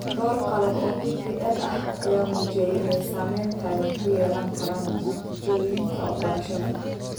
Dhowr qalab oo DPL ah ayaa muujiyay inay saameyn togan ku yeelan karaan natiijooyinka barashada.